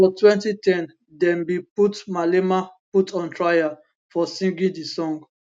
for 2010 dem bin put malema put on trial for singing di song